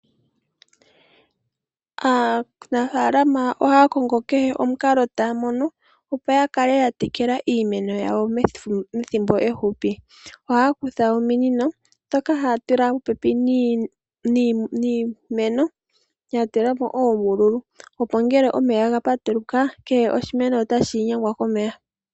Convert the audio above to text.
Aanafaalama ohaya kongo kehe omukalo taya mono opo ya kale ya tekela iimeno yawo methimbo efupi. Ohaya kutha ominino ndhoka haya tula popepi niimeno, ya tula po oombululu, opo ngele omeya ga patuluka, kehe oshimeno otashi gumwa komeya.